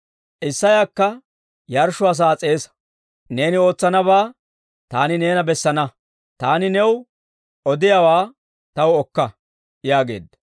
Isseyakka yarshshuwaa sa'aa s'eesa. Neeni ootsanabaa taani neena bessana; taani new odiyaawaa taw okka» yaageedda.